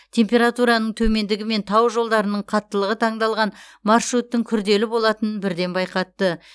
температураның төмендігі мен тау жолдарының қаттылығы таңдалған маршруттың күрделі болатынын бірден байқатты